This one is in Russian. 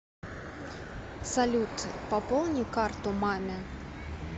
салют пополни карту маме